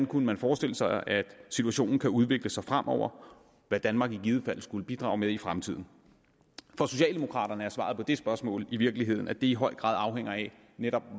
kunne forestille sig at situationen kunne udvikle sig fremover og hvad danmark i givet fald skulle bidrage med i fremtiden for socialdemokraterne er svaret på det spørgsmål i virkeligheden at det i høj grad afhænger af netop